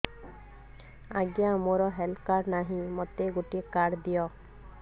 ଆଜ୍ଞା ମୋର health card ନାହିଁ ମୋତେ ଗୋଟେ କାର୍ଡ ଦିଅ